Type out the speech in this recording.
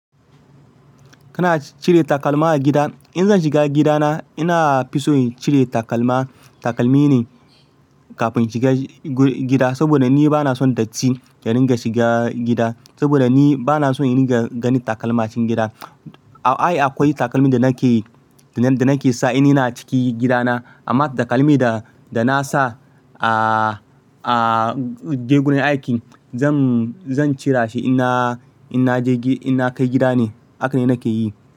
Kana cire takalma a gida? In zan shiga gidana inafi so in cire takalma, takalmi ne kafin shiga gida. Saboda ni bana son datti ya dinga shiga gida. Saboda ni bana so in ringa ganin takalma a cikin gida. A'a akwai takalmin da nake, da nake sa in ina ciki gidana. Amma takalmi da, da na sa a, a je gurin aikin zan, zan cira shi in na, in na je, in na kai gida ne. Haka ne nake yi.